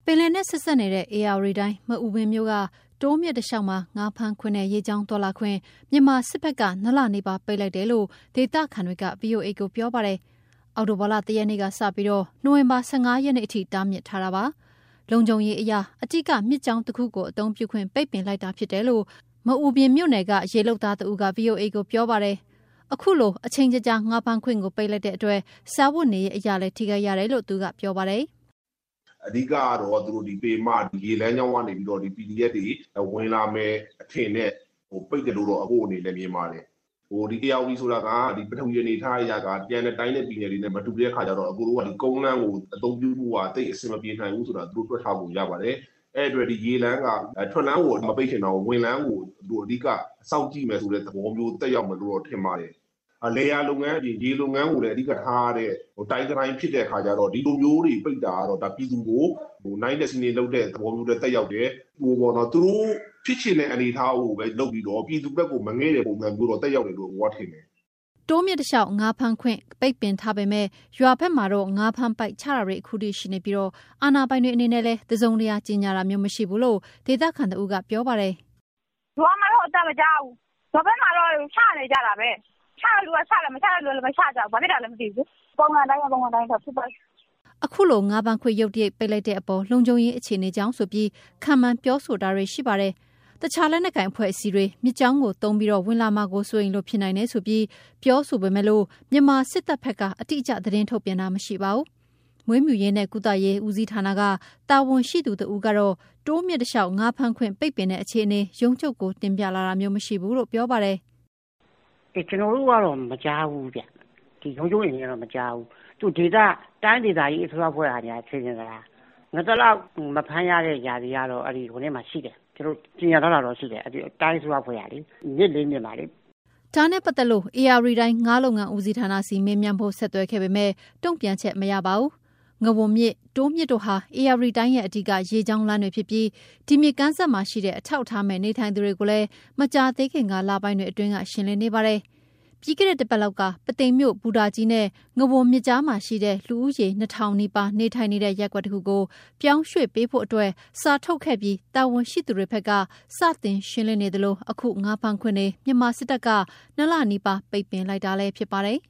ပင်လယ်နဲ့ ဆက်စပ်နေတဲ့ ဧရာဝတီတိုင်း၊ မအူပင်မြို့က တိုးမြစ်တလျှောက်မှာ ငါးဖမ်းခွင့်နဲ့ ရေကြောင်းသွားလာခွင့် မြန်မာစစ်တပ်ဘက်က ၂ လနီးပါးပိတ် ထားလိုက်တယ်လို့ ဒေသခံတွေက ဗွီအိုအေ ကို ပြောပါတယ်။ အောက်တိုဘာ ၁ ရက်နေ့ကစပြီး နိုဝင်ဘာ ၁၅ ရက်နေ့အထိ တားမြစ်ထားတာပါ။ လုံခြုံရေးအရ အဓိကမြစ်ကြောင်းတခုကို အသုံးပြုခွင့် ပိတ်ပင်လိုက်တာ ဖြစ်တယ်လို့ မအူပင်မြို့နယ်က ရေလုပ်သားတဦးက ဗွီအိုအေကို ပြောပါတယ်။ အခုလို အချိန်ကြာကြာ ငါးဖမ်းခွင့်ကို ပိတ်လိုက်တဲ့အတွက် စားဝတ်နေရေးအရလည်း ထိခိုက်ရတယ်လို့ သူက ပြောပါတယ်။ "အဓိကတော့ သူတို့ ပင်မရေလမ်းကြောင်းကနေ PDF တွေ ဝင်လာမယ်အထင်နဲ့ ပိတ်တယ်လို့တော့ မြင်ပါတယ်။ ဒီ ဧရာဝတီ ဆိုတာက ပထဝီအနေအထားအရ ကျန်တဲ့တိုင်းနဲ့ ပြည်နယ်တွေနဲ့ မတူတဲ့အခါကျတော့ သူတို့က ကုန်းလမ်းကိုအသုံးပြုဖို့ သိပ်အဆင်မပြေနိုင်ဘူး ဆိုတာ သူတို့တွက်ထားပုံ ရပါတယ်။ အဲဒီအတွက်ရေလမ်းက ထွက်လမ်းကို မပိတ်ရင်တောင် ဝင်လမ်းကို အဓိက စောင့်ကြည့်မယ်ဆိုတဲ့ သဘောမျိုး သက်ရောက်မယ်လို့ ထင်ပါတယ်။ လယ်ယာလုပ်ငန်းအပြင် ရေလုပ်ငန်းကိုလည်း အဓိကထားရတဲ့ တိုင်းတတိုင်း ဖြစ်တဲ့အခါကျတော့ ဒီလိုမျိုးတွေ ပိတ်တာကတော့ ပြည်သူကို နိုင့်ထက်စီးနင်းလုပ်တဲ့ သဘောမျိုး သက်ရောက်တယ်။ သူတို့ဖြစ်ချင်တဲ့ အနေအထားကိုပဲ လုပ်ပြီးတော့ ပြည်သူဘက်ကို မငဲ့တဲ့ပုံစံမျိုး သက်ရောက်တယ်လို့ ထင်ပါတယ်။" တိုးမြစ်တလျှောက် ငါးဖမ်းခွင့်ကို ပိတ်ပင်ထားပေမယ့် ရွာဘက်မှာတော့ ငါးဖမ်းပိုက်ချတာတွေ အခုထိရှိနေပြီး အာဏာပိုင်တွေအနေနဲ့လည်း တစုံတရာကြေညာတာမျိုး မရှိဘူးလို့ ဒေသခံတဦးက ပြောပါတယ်။ "ရွာမှာတော့ အသံမကြားဘူး။ ရွာဘက်မှာတော့ ချနေကြတာပဲ။ ငါးဖမ်းပိုက် ချတဲ့သူကလည်း ချတယ်၊ မချတဲ့လူကလည်း မချဘူး။ ရွာဘက်ကတော့ ပုံမှန်အတိုင်းပဲ။" အခုလို ငါးဖမ်းခွင့် ရုတ်တရက်ပိတ်လိုက်တဲ့အပေါ် လုံခြုံရေးအခြေအနေကြောင့်ဆိုပြီး ခန့်မှန်းပြောဆိုတာတွေ ရှိပါတယ်။ တခြား လက်နက်ကိုင်အဖွဲ့အစည်းတွေ မြစ်ကြောင်းကို သုံးပြီး ဝင်လာမှာ စိုးရိမ်လို့ ဖြစ်နိုင်တယ်ဆိုပြီး ပြောဆိုပေမဲ့ မြန်မာစစ်တပ်ဘက်က အတိအကျ သတင်းထုတ်ပြန်တာ မရှိပါဘူး။ မွေးမြူရေးနဲ့ ကုသရေးဦးစီးဌာနက တာဝန်ရှိသူ တဦးကတော့ တိုးမြစ်တလျှောက် ငါးဖမ်းခွင့်ပိတ်ပင်တဲ့ အခြေအနေ ရုံးချုပ်ကို တင်ပြလာတာမျိုး မရှိဘူးလို့ ပြောပါတယ်။ "ကျနော်တို့ ရုံးချုပ်အနေနဲ့တော့ မကြားဘူးဗျ။ တိုင်းဒေသကြီး အစိုးရအဖွဲ့ကများ ကြေညာသလား။ မြစ် ၄ မြစ်မှာ ငါးသလောက်မဖမ်းရတဲ့ ရာသီကတော့ တိုင်းအစိုးရအဖွဲ့အနေနဲ့ ကြေညာထားတာရှိတယ်။" ဒါနဲ့ပတ်သက်လို့ ဧရာဝတီတိုင်း၊ ငါးလုပ်ငန်းဦးစီးဌာနဆီ မေးမြန်းဖို့ ဆက်သွယ်ခဲ့ပေမယ့် တုံ့ပြန်ချက် မရပါဘူး။ ငဝန်မြစ်၊ တိုးမြစ်တို့ဟာ ဧရာဝတီတိုင်းရဲ့ အဓိကရေလမ်းကြောင်းတွေ ဖြစ်ပြီး ဒီမြစ်ကမ်းစပ်မှာရှိတဲ့ အထောက်အထားမဲ့ နေထိုင်သူတွေကိုလည်း မကြာသေးခင် လပိုင်းတွေအတွင်းက ရှင်းလင်းနေပါတယ်။ ပြီးခဲ့တဲ့ တပတ်လောက်က ပုသိမ်မြို့ ဘူတာကြီးနဲ့ ငဝန်မြစ်ကြားမှာ ရှိတဲ့ လူဦးရေ ၂ ထောင်နီးပါး နေထိုင်နေတဲ့ ရပ်ကွက်တခုကို ပြောင်းရွှေ့ပေးဖို့အတွက် စာထုတ်ခဲ့ပြီး တာဝန်ရှိသူတွေဘက်က စတင်ရှင်းလင်းနေသလို၊ အခု ငါးဖမ်းခွင့်တွေ မြန်မာစစ်တပ်က ၂ လနီးပါး ပိတ်ပင်လိုက်တာဖြစ်ပါတယ်